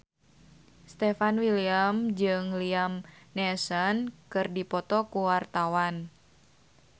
Stefan William jeung Liam Neeson keur dipoto ku wartawan